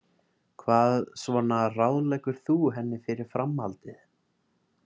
Hvað svona ráðleggur þú henni fyrir framhaldið?